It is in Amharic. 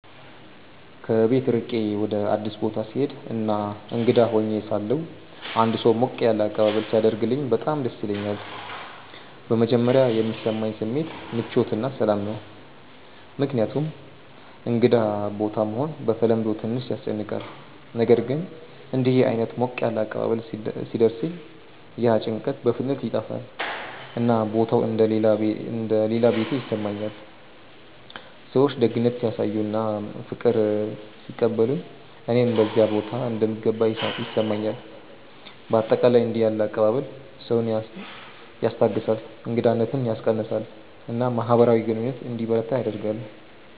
ከቤት ርቄ ወደ አዲስ ቦታ ስሄድ እና እንግዳ ሆኜ ሳለሁ አንድ ሰው ሞቅ ያለ አቀባበል ሲያደርግልኝ በጣም ደስ ይለኛል። በመጀመሪያ የሚሰማኝ ስሜት ምቾት እና ሰላም ነው፣ ምክንያቱም እንግዳ ቦታ መሆን በተለምዶ ትንሽ ያስጨንቃል። ነገር ግን እንዲህ ዓይነት ሞቅ ያለ አቀባበል ሲደርሰኝ ያ ጭንቀት በፍጥነት ይጠፋል፣ እና ቦታው እንደ “ ሌላ ቤቴ ” ይሰማኛል። ሰዎች ደግነት ሲያሳዩ እና በፍቅር ሲቀበሉኝ እኔም በዚያ ቦታ እንደምገባ ይሰማኛል። በአጠቃላይ እንዲህ ያለ አቀባበል ሰውን ያስታግሳል፣ እንግዳነትን ያስቀንሳል እና ማህበራዊ ግንኙነት እንዲበረታ ያደርጋል።